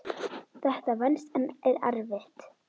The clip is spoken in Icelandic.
Þetta venst en er erfitt.